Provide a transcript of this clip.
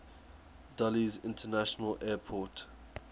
dulles international airport